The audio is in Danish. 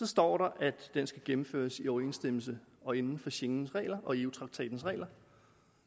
står at den skal gennemføres i overensstemmelse og inden for schengens regler og eu traktatens regler